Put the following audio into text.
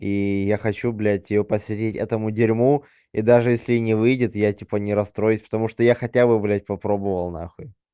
и я хочу блядь её посвятить этому дерьму и даже если не выйдет я типа не расстроюсь потому что я хотя бы блядь попробовал нахуй